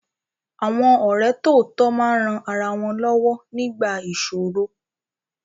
Àwọn ọ̀rẹ́ tòótọ́ máa ń ran ara wọn lọ́wọ́ nígbà ìsòro.